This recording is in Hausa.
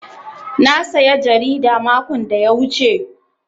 Na saya jarida makon da ya wuce.